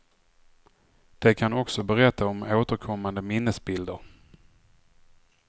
De kan också berätta om återkommande minnesbilder.